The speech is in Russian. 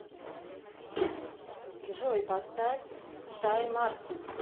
джой поставь шай мартин